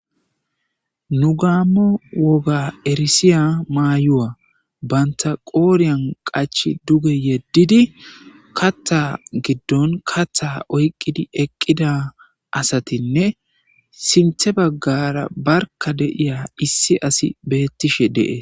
nu gaammo woga erisiya maayuwa banta qooriyan qachi duge yeddidi kattha giddon kattha oyqqidi eqqida asatinne sinthe baggara barka deiya issi asi beettishe de'es